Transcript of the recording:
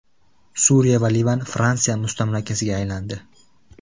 Suriya va Livan Fransiya mustamlakasiga aylandi.